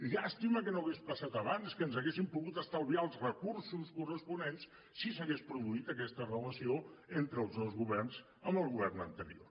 llàstima que no hagués passat abans que ens hauríem pogut estalviar els recursos corresponents si s’hagués produït aquesta relació entre els dos governs amb el govern anterior